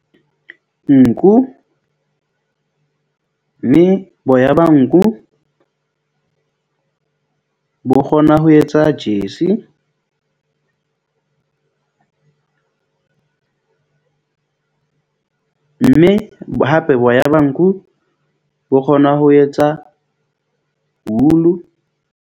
Nku mme boya ba nku bo kgona ho etsa jersey . Mme hape boya ba nku bo kgona ho etsa wool-u.